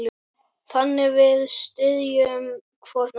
Þannig við styðjum hvorn annan.